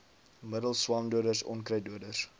middels swamdoders onkruiddoders